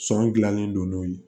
Sɔn gilannen don n'o ye